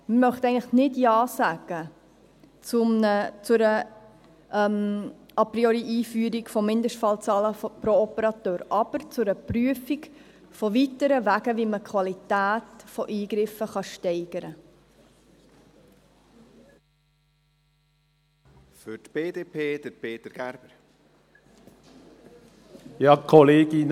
Ich möchte eigentlich nicht Ja sagen, zu einer A-priori-Einführung von Mindestfallzahlen pro Operateur, aber zu einer Prüfung von weiteren Wegen, wie man Qualität von Eingriffen steigern kann.